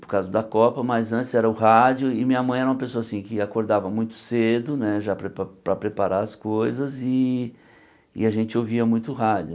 por causa da Copa, mas antes era o rádio e minha mãe era uma pessoa assim que acordava muito cedo né já para pre para preparar as coisas e e a gente ouvia muito rádio.